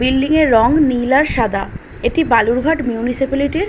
Building এর রং নীল আর সাদা। এটি বালুরঘাট মিউনিসিপালিটির --